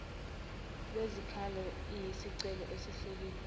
lwezikhalo iyisicelo esihleliwe